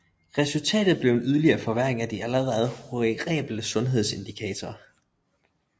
Resultatet blev en yderligere forværring af de allerede horrible sundhedsindikatorer